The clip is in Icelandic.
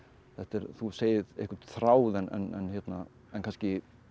þú segir einhvern þráð en kannski